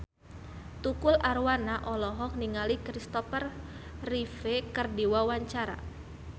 Tukul Arwana olohok ningali Kristopher Reeve keur diwawancara